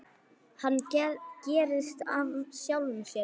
Hann gerist af sjálfu sér.